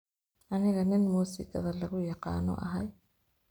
Aniga nin musikadha laguyaqano ahy.